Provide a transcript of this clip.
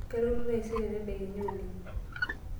Kalotu taisere tedekenya oleng'.